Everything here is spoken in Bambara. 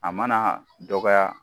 A mana dɔgɔya